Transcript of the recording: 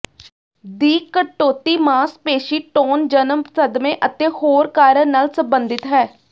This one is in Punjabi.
ਦੀ ਕਟੌਤੀ ਮਾਸਪੇਸ਼ੀ ਟੋਨ ਜਨਮ ਸਦਮੇ ਅਤੇ ਹੋਰ ਕਾਰਨ ਨਾਲ ਸੰਬੰਧਿਤ ਹੈ